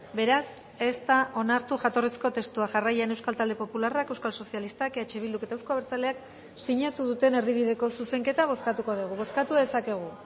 beraz ez da onartu jatorrizko testua jarraian euskal talde popularrak euskal sozialistak eh bilduk eta euzko abertzaleak sinatu duten erdibideko zuzenketa bozkatuko dugu bozkatu dezakegu